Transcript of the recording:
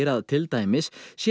til dæmis